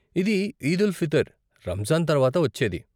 ఇది ఈదుల్ఫితర్, రంజాన్ తర్వాత వచ్చేది.